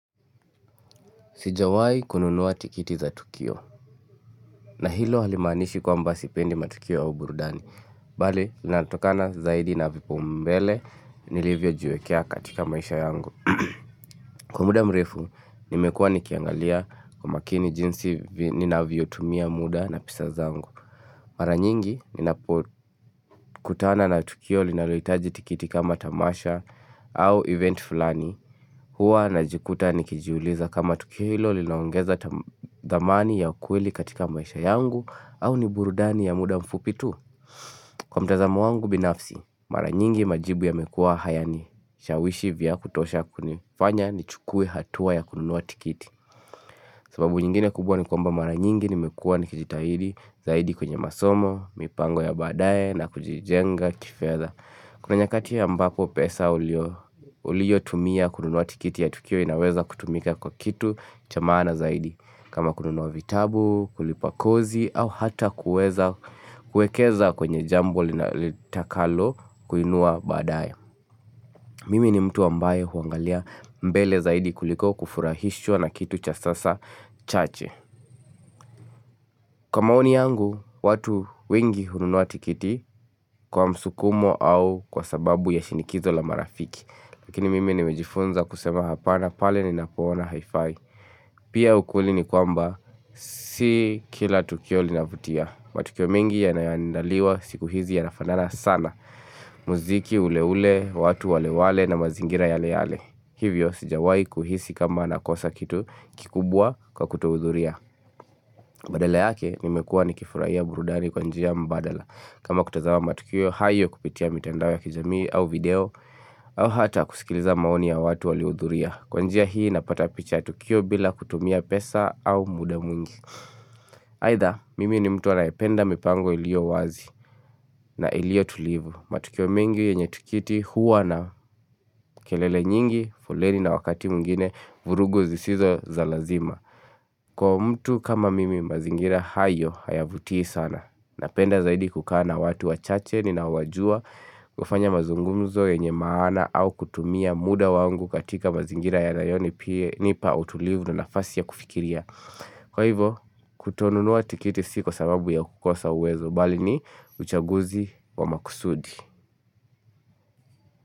Sijawahi kununua tikiti za Tukio na hilo halimaanishi kwamba sipendi matukio au burudani. Pale, natokana zaidi na vipaombele, nilivyojiwekea katika maisha yangu. Kwa muda mrefu, nimekua nikiangalia kwa umakini jinsi ninavyo tumia muda na pesa zangu. Mara nyingi, ninapo kutana na Tukio linaloitaji tikiti kama tamasha au event fulani. Huwa na jikuta ni kijiuliza kama tukio hilo linaongeza thamani ya ukweli katika maisha yangu au ni burudani ya muda mfupi tu Kwa mtazamo wangu binafsi, mara nyingi majibu yamekuwa hayanishawishi vya kutosha kunifanya ni chukue hatua ya kununua tikiti sababu nyingine kubwa ni kwamba mara nyingi nimekua nikijitahidi zaidi kwenye masomo, mipango ya badaye na kujijenga kifedha Kuna nyakati ambapo pesa uliyo tumia kununuwa tikiti ya tukio inaweza kutumika kwa kitu cha maana zaidi. Kama kununua vitabu, kulipa kozi au hata kuweza kuekeza kwenye jambo litakalo kuinua badaye. Mimi ni mtu ambaye huangalia mbele zaidi kuliko kufurahishwa na kitu cha sasa chache. Kwa maoni yangu, watu wengi hununua tikiti kwa msukumo au kwa sababu ya shinikizo la marafiki. Lakini mimi nimejifunza kusema hapana pale ninapo ona haifai. Pia ukweli ni kwamba, si kila tukio linavutia. Matukio mengi yanayoadaliwa siku hizi yanafanana sana. Muziki ule ule, watu wale wale na mazingira yale yale. Hivyo, sijawai kuhisi kama nakosa kitu kikubwa kwa kutohudhuria. Badala yake nimekua ni kifuraiya burudani kwa njia mbadala kama kutazama matukio hayo kupitia mitandao ya kijamii au video au hata kusikiliza maoni ya watu waliohudhuria Kwa njia hii napata picha ya tukio bila kutumia pesa au muda mwingi Aidha mimi ni mtu anayependa mipango iliyo wazi na iliyo tulivu matukio mengi yenye tikiti huwa na kelele nyingi, foleni na wakati mwingine vurugu zisizo za lazima Kwa mtu kama mimi mazingira hayo hayavutii sana. Napenda zaidi kukaa na watu wachache ninaowajua kufanya mazungumzo yenye maana au kutumia muda wangu katika mazingira yanayonipa utulivu na nafasi ya kufikiria. Kwa hivo kutonunua tikiti si kwa sababu ya kukosa uwezo bali ni uchaguzi wa makusudi.